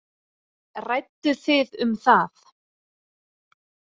Rædduð þið um það?